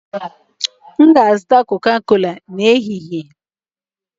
M ga-azụta Coca-cola n'ehihie